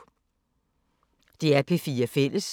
DR P4 Fælles